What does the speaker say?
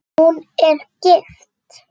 Hún er gift.